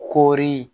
Kori